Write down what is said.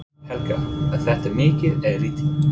Helga: Er þetta mikið eða lítið?